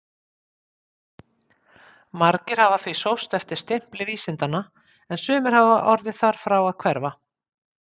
Margir hafa því sóst eftir stimpli vísindanna en sumir orðið þar frá að hverfa.